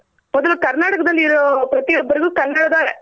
ಮೊದ್ಲು ಕರ್ನಾಟಕದಲ್ಲಿ ಇರೋ ಪ್ರತಿ ಒಬ್ಬರ್ಗು ಕನ್ನಡದ